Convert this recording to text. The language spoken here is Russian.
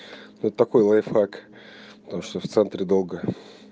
вот такой лайфхак потому что в центре долго